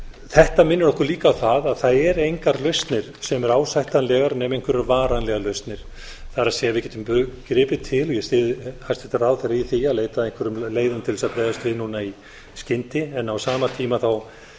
þetta minnir okkur líka á það að það eru engar lausnir sem eru ásættanlegar nema einhverjar varalausnir það er við getum gripið til og ég styð hæstvirtan ráðherra í því að leita að einhverjum leiðum til þess að bregðast við núna í skyndi en á sama tíma held ég